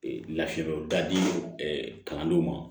Ee lafiyabugu dadi kalandenw ma